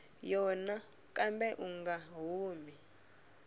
yona kambe u nga humi